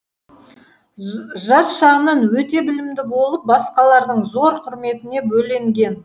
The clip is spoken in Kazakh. жас шағынан өте білімді болып басқалардың зор құрметіне бөленген